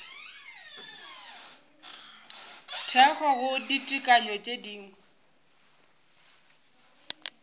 thekgo go ditekanyo tše dingwe